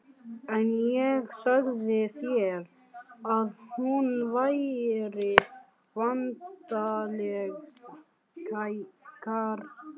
En ég sagði þér að hún væri væntanleg, Kjartan.